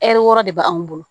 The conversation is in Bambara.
Ɛri wɔɔrɔ de b'an bolo